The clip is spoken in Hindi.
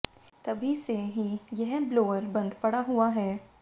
तभी से ही यह ब्लोअर बंद पड़ा हुआ है